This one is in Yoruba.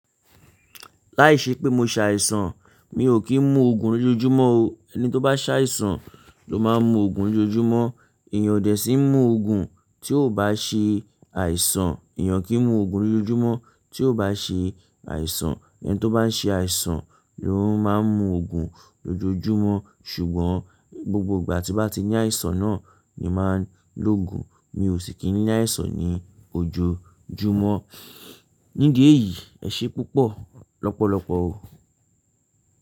Láìṣe pé mo ṣàìsàn, mi ò kí ń mu Ògùn lójoojúmọ́ o. Eni tó bá ṣàìsàn ló máa ń mu Ògùn lójoojúmọ́. Èèyàn ò dé sí í mu Ògùn tí ò bá ṣe àìsàn. Èèyàn kì í mu Ògùn lójoojúmọ́ tí ò bá ṣe àìsàn. Ẹni tó bá ń ṣe àìsàn ló ń máa ń mu Ògùn lójoojúmọ́. Ṣùgbọ́n gbogbo ìgbà tí mo bá ti ní àìsàn náà ni màá lo Ògùn. Mi ò sì kí ní àìsàn ní ojoojúmọ́. Nídí ẹ̀yìí, ẹ ṣé púpọ̀ lọ́pọ̀lọpọ̀ o.